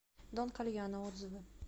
дон кальяно отзывы